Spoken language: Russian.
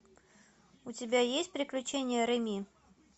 у тебя есть приключения реми